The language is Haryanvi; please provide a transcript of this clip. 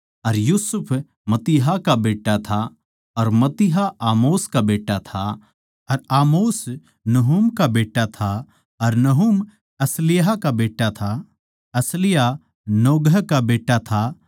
अर यूसुफ मत्तित्याह का बेट्टा था अर मत्तित्याह आमोस का बेट्टा था अर आमोस नहूम का बेट्टा था अर नहूम असल्याह का बेट्टा था अर असल्याह नोगह का बेट्टा था